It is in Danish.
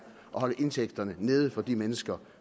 at holde indtægterne nede for de mennesker